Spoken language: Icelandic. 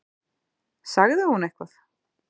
Sagði hún eitthvað?